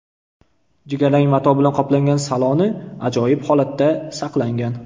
Jigarrang mato bilan qoplangan saloni ajoyib holatda saqlangan.